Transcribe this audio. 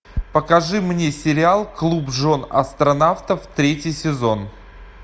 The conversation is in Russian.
покажи мне сериал клуб жен астронавтов третий сезон